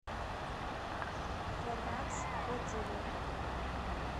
форнакс отзывы